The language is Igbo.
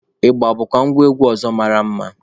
Ịgba bụkwa ngwa egwu ọzọ mara mma.